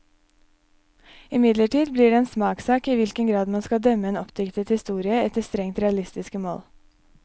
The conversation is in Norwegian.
Imidlertid blir det en smakssak i hvilken grad man skal dømme en oppdiktet historie efter strengt realistiske mål.